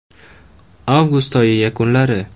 Avgust oyi yakunlari.